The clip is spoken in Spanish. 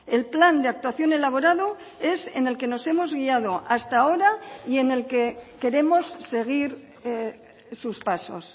el plan de actuación elaborado es en el que nos hemos guiado hasta ahora y en el que queremos seguir sus pasos